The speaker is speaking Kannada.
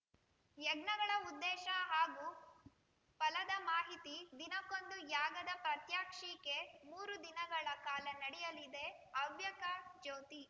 ಯಜ್ಞಗಳ ಉದ್ದೇಶ ಹಾಗೂ ಫಲದ ಮಾಹಿತಿ ದಿನಕ್ಕೊಂದು ಯಾಗದ ಪ್ರಾತ್ಯಕ್ಷಿಕೆ ಮೂರು ದಿನಗಳ ಕಾಲ ನಡೆಯಲಿದೆ ಹವ್ಯಕ ಜ್ಯೋತಿ